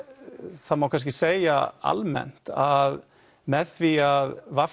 það má kannski segja almennt að með því að v